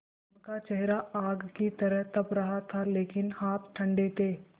उनका चेहरा आग की तरह तप रहा था लेकिन हाथ ठंडे थे